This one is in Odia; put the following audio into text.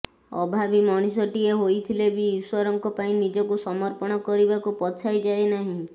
ଅଭାବୀ ମଣିଷ ଟିଏ ହୋଇଥିଲେ ବି ଈଶ୍ୱରଙ୍କ ପାଇଁ ନିଜକୁ ସମର୍ପଣ କରିବାକୁ ପଛାଇ ଯାଏ ନାହିଁ